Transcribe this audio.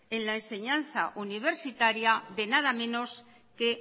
en la enseñanza universitaria de nada menos que